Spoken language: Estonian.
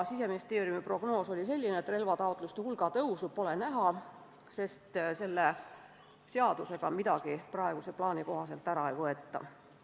Siseministeeriumi prognoos oli selline, et relvataotluste hulga kasvu pole näha, sest selle seaduseelnõuga midagi praeguse plaani kohaselt ära ei võeta.